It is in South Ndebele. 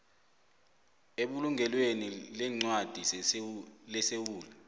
ebulungelweni leencwadi lesewula